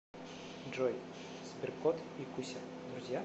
джой сберкот и куся друзья